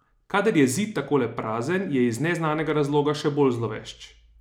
Kadar je Zid takole prazen, je iz neznanega razloga še bolj zlovešč.